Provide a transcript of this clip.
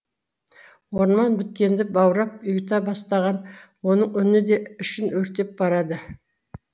орман біткенді баурап ұйыта бастаған оның үні де ішін өртеп барады